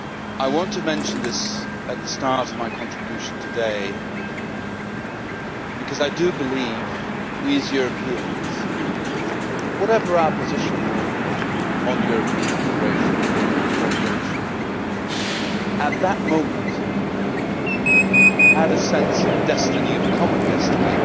I want to mention this at the start of my contribution today, because I do believe that we, as Europeans whatever our position may be on European integration, on European cooperation at that moment had a sense of destiny, of common destiny.